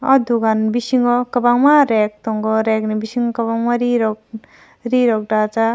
aw dugan bisingo kwbangma rag tongo aw rag ni bisingo kwbangma ree rok dajak.